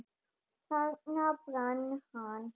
Þarna brann hann.